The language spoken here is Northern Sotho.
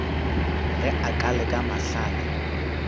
ge a ka leka mahlale